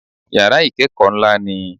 Yàrá ìkẹ́kọ̀ọ́ ńlá ni i